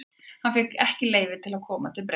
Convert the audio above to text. Hann fékk ekki leyfi til að koma til Bretlands.